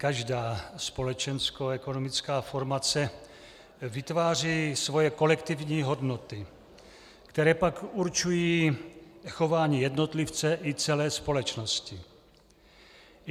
Každá společenskoekonomická formace vytváří svoje kolektivní hodnoty, které pak určují chování jednotlivce i celé společnosti.